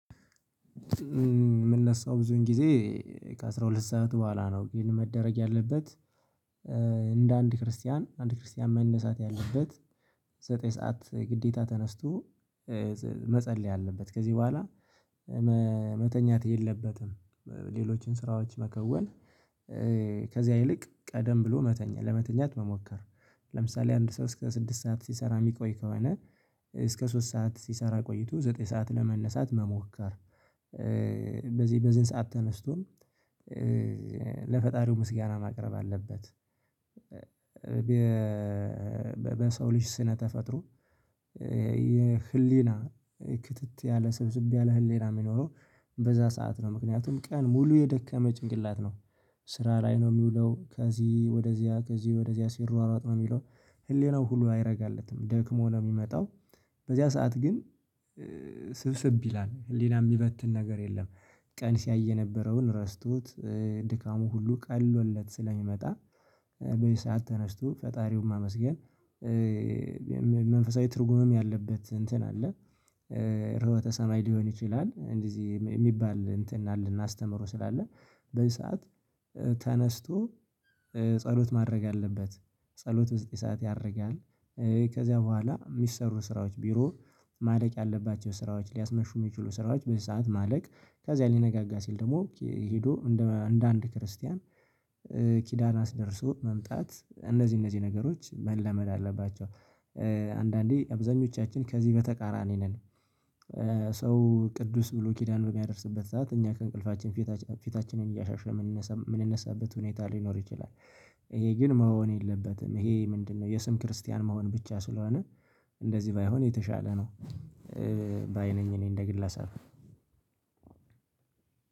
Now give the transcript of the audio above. የምነሳው ብዙን ጊዜ ከአሥራ ሁለት ሰዓት በኋላ ነው ግን መደረግ ያለበት። እንደ አንድ ክርስቲያን አንድ ክርስቲያን መነሳት ያለበት። ዘጠኝ ሰዓት ግዴታ ተነስቶ መጸለይ አለበት። ከዚህ በኋላ መተኛት የለበትም። ሌሎችን ስራዎች መከወን ከዚያ ይልቅ ቀደም ብሎ መተኛ ለመተኛት መሞከር። ለምሳሌ አንድ ሰዓት እስከ ስድስት ሰዓት ሲሰራ የሚቆይ ከሆነ እስከ ሶስት ሰዓት ሲሰራ ቆይቶ ዘጠኝ ሰዓት ለመነሳት መሞከር። በዚህ በዚህ ሰዓት ተነስቶም ለፈጣሪው ምስጋና ማቅረብ አለበት። በሰው ልጅ ስነ ተፈጥሮ የህሊና ክትት ያለ ሰብስቤ ያለ ህሊና የሚኖረው በዛ ሰዓት ነው ምክንያቱም ቀን ሙሉ የደከመ ጭንቅላት ነው። ስራ ላይ ነው የሚውለው ከዚህ ወደዚያ ከዚህ ወደዚያ ሲሯሯጥ ነው የሚለው ህሊናው ሁሉ አይረጋለትም ደክሞ ነው የሚመጣው። በዚያ ሰዓት ግን ስብስብ ይላል ሌላ የሚበትን ነገር የለም። ቀን ሲያይ የነበረውን ረስቶት ድካሙ ሁሉ ቀሎለት ስለሚመጣ በይ ሰዓት ተነስቶ ፈጣሪውን ማመስገን። መንፈሳዊ ትርጉምም ያለበት እንትን አለ። ርሆተ ሰማይ ሊሆን ይችላል እንደዚህ የሚባል እንትን አለና አስተምሮ ስላለ በዚህ ሰዓት ተነስቶ ጸሎት ማድረግ አለበት። ጸሎት በዚህ ሰዓት ያደርጋል። ከዚያ በኋላ የሚሰሩ ስራዎች ቢሮ ማለቅ ያለባቸው ስራዎች ሊያስመሹ የሚችሉ ስራዎች በዚህ ሰዓት ማለቅ ከዚያ ሊነጋጋ ሲል ደግሞ ሄዶ እንደ አንድ ክርስቲያን ኪዳን አስደርሶ መምጣት እነዚህ እነዚህ ነገሮች መለመድ አለባቸው። አንዳንዴ አብዛኞቻችን ከዚህ በተቃራኒ ነን። ሰው ቅዱስ ብሎ ኪዳን ነው የሚያደርስበት ሰዓት እኛ ከእንቅልፋችን ፊታችንን እያሻሸ የምንነሳበት ሁኔታ ሊኖር ይችላል። ይሄ ግን መሆን የለበትም ይሄ ምንድነው? የስም ክርስቲያን መሆን ብቻ ስለሆነ እንደዚህ ባይሆን የተሻለ ነው። ባይ ነኝ እኔ እንደ ግል አሳፍኩ